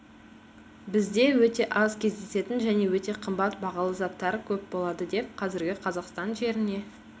бізде өте аз кездесетін және өте қымбат бағалы заттар көп болады деп қазіргі қазақстан жеріне